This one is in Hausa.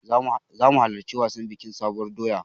Zamu halarci wajen biƙin sabuwar doya